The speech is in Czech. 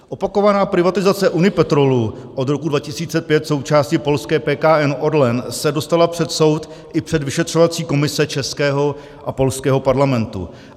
Opakovaná privatizace Unipetrolu, od roku 2005 součásti polské PKN Orlen, se dostala před soud i před vyšetřovací komise českého a polského parlamentu.